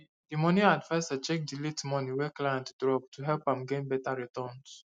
the the money adviser check the late money wey client drop to help am gain better returns